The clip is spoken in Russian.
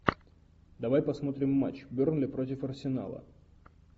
давай посмотрим матч бернли против арсенала